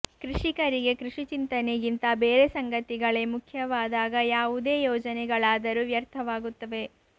ಕೃಷಿಕರಿಗೆ ಕೃಷಿ ಚಿಂತನೆಗಿಂತ ಬೇರೆ ಸಂಗತಿಗಳೇ ಮುಖ್ಯವಾದಾಗ ಯಾವುದೇ ಯೋಜನೆಗಳಾದರೂ ವ್ಯರ್ಥವಾಗುತ್ತವೆ